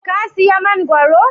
ka siya mangoro?